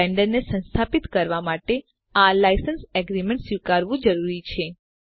બ્લેન્ડરને સંસ્થાપિત કરવાં માટે આ લાઇસેન્સ એગ્રીમેન્ટ સ્વીકારવું જરૂરી છે